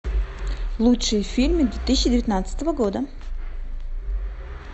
лучшие фильмы две тысячи девятнадцатого года